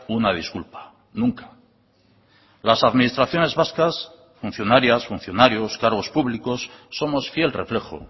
una disculpa nunca las administraciones vascas funcionarias funcionarios cargos públicos somos fiel reflejo